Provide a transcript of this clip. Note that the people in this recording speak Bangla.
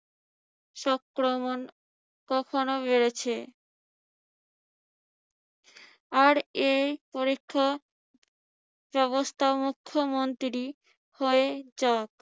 সক্রমন কখনো বেড়েছে। আর এই পরীক্ষা ব্যবস্থা মুখ্যমন্ত্রী হয়ে যাক।